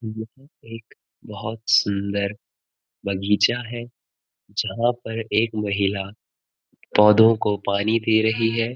यह एक बहोत सुंदर बगीचा है जहाँ पर एक महिला पौधों को पानी दे रही है।